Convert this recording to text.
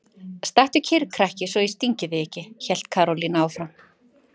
Stattu kyrr krakki svo ég stingi þig ekki! hélt Karólína áfram.